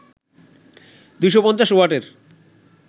২৫০ ওয়াটের